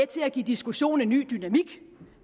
til at give diskussionen en ny dynamik